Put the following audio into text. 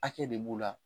Hakɛ de b'o la